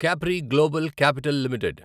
Capri Global Capital limited